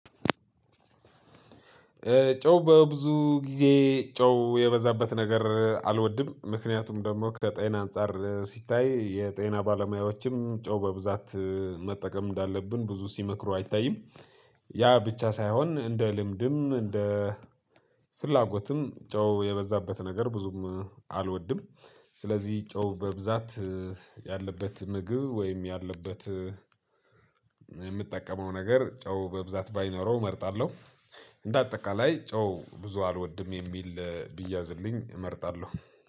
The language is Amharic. ጨው በብዙ ጊዜ ጨው የበዛበት ነገር አልወድም ምክንያቱም ደግሞ ከጤና አንፃር ሲታይ የጤና ባለሙያዎችም ጨው በብዛት መጠቀም እንዳለብን ብዙ ሲመክሩ አይታይም። ያ ብቻ ሳይሆን እንደ ልምድም እንደ ፍላጎትም ጨው የበዛበት ነገር ብዙም አልወድም። ስለዚህ ጨው በብዛት ያለበት ምግብ ወይም ያለበት የምጠቀመው ነገር ጨው በብዛት ባይኖረው እመርጣለሁ። እንደ አጠቃላይ ጨው ብዙ አልወድም የሚል ቢያዝልኝ እመርጣለሁ